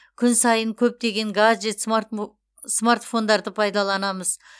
күн сайын көптеген гаджет смартфондарды пайдаланамыз